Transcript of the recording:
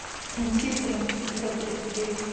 симпсоны эпизод тридцать девять